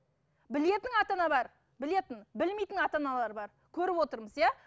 білетін ата ана бар білетін білмейтін ата аналар бар көріп отырмыз иә